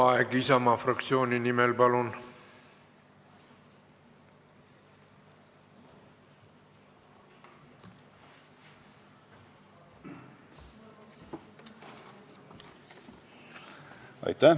Raivo Aeg Isamaa fraktsiooni nimel, palun!